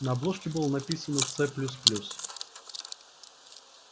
на обложке было написано ц плюс плюс